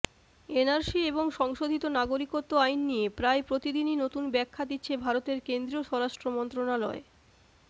NRC এবং সংশোধিত নাগরিকত্ব আইন নিয়ে প্রায় প্রতিদিনই নতুন ব্যাখ্যা দিচ্ছে ভারতের কেন্দ্রীয় স্বরাষ্ট্র মন্ত্রণালয়